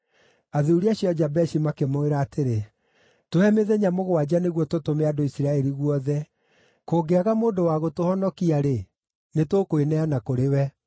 Athuuri acio a Jabeshi makĩmwĩra atĩrĩ, “Tũhe mĩthenya mũgwanja nĩguo tũtũme andũ Isiraeli guothe, kũngĩaga mũndũ wa gũtũhonokia-rĩ, nĩtũkwĩneana kũrĩ we.”